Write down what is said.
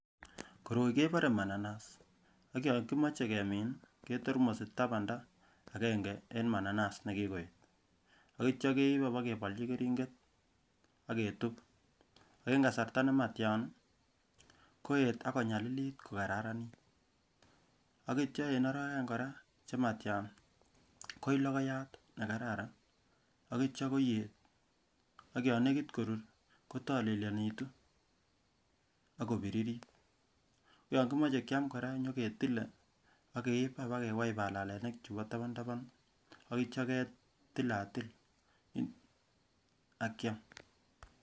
Koroi keboree mananas, ak yoon kimoche kemin ketormosi tabanda akeng'e en mananas nekikoet, akityo keib abakebolchi kering'et aketub ak en kasarta nematian koeet akonyalilit kokararanit, akityo en orowek oeng kora komatian koii lokoyat nekararan akityo koiyee ak yoon nekit korur kotolelionitu akobiririt, koyon kimoche kiam kora inyoketile akeiib abakewai balalenik chumbo tabantaban akityo ketilatil akiam.